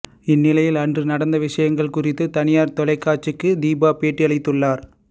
இந்நிலையில் அன்று நடந்த விஷயங்கள் குறித்து தனியார் தொலைக்காட்சிக்கு தீபா பேட்டிளித்துள்ளார்